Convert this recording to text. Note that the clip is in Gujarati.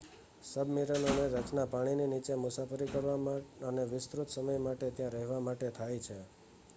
સબ્મરીનોની રચના પાણીની નીચે મુસાફરી કરવા અને વિસ્તૃત સમય માટે ત્યાં રહેવા માટે થાય છે